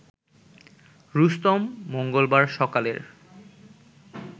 রুস্তম মঙ্গলবার সকালের